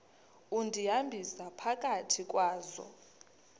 undihambisa phakathi kwazo